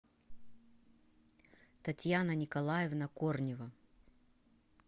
татьяна николаевна корнева